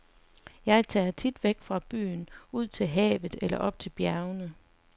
Jeg tager tit væk fra byen ud til havet eller op til bjergene.